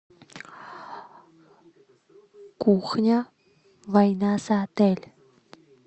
кухня война за отель